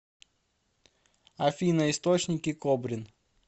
афина источники кобрин